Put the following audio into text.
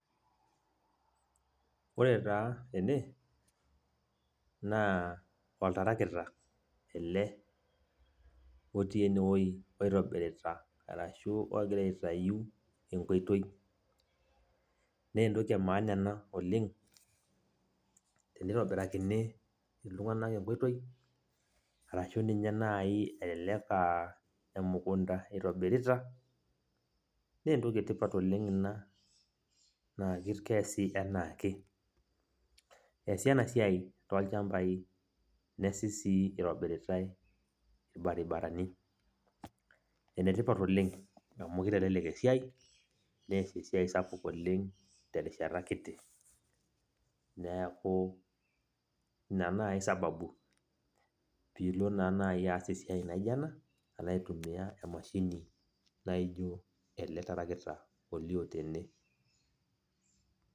ore taa ene, naa oltarakita ele, otii ene wueji oitobirita aashu ogira aitayu enkoitoi. naa entoki emaana ena oleng. teneitobirakini iltunganak enkoitoi. arashu niye naai eelelk aa emukunta itobirita. naa entoki etipat oldng ina, naa keesi anaake. eesi ena siai toolchampai. neesi sii otobiritai ilbaribarani. elelk oleng amu kitelelek esiiai oleng terishata kiti. neeku, ina naai sbabu pii ilo naa naji aas esiai naijo ena alo aitumia emashini naijo ele tarakita olioo tene.